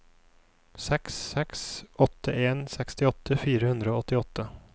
seks seks åtte en sekstiåtte fire hundre og åttiåtte